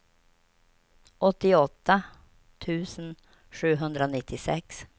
åttioåtta tusen sjuhundranittiosex